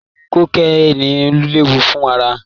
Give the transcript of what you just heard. Kokéènì léwu fún ara